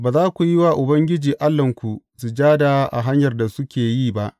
Ba za ku yi wa Ubangiji Allahnku sujada a hanyar da suke yi ba.